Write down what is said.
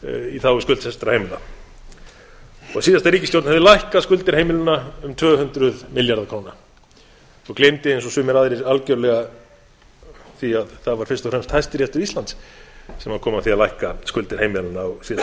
í þágu skuldsettra heimila og síðasta ríkisstjórn hefði lækkað skuldir heimilanna um tvö hundruð milljarða króna og gleymdi eins og sumir aðrir algjörlega að það var fyrst og fremst hæstiréttur íslands sem kom að því að lækka skuldir heimilanna á síðasta kjörtímabili